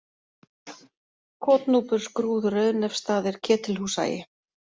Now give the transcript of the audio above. Kotnúpur, Skrúð, Rauðnefsstaðir, Ketilhúshagi